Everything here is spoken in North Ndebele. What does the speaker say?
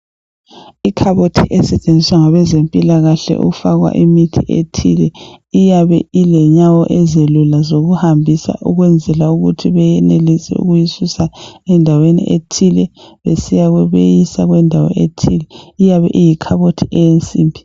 Ikhabothi esetshenziswa ngabezempilakahle ukufaka imithi ethile iyabe ilenyawo ezilula zokuhambisa ukwenzela ukuthi beyenelisa ukuyisusa endaweni ethile beyisa kweyinye indawo. Iyabe iyi khabothi yensimbi